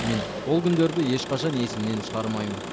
мен ол күндерді ешқашан есімнен шығармаймын